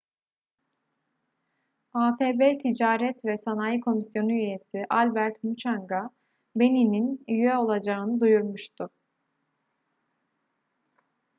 afb ticaret ve sanayi komisyonu üyesi albert muchanga benin'in üye olacağını duyurmuştu